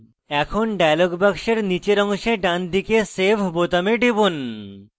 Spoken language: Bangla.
এখন dialog box নীচের অংশে ডানদিকে save বোতামে টিপুন